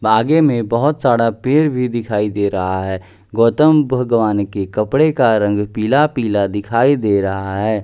बागे में बहुत सारा पेर भी दिखाई दे रहा है गौतम भगवान के कपड़े का रंग पीला-पीला दिखाई दे रहा है।